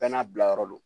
Bɛɛ n'a bilayɔrɔ do